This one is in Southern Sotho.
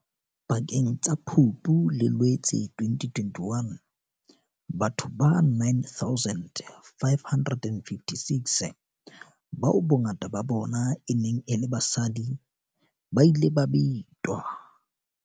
Pakeng tsa Phupu le Loetse 2021, batho ba 9 556, bao bongata ba bona e neng e le basadi, ba ile ba betwa.